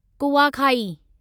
कुवाखाई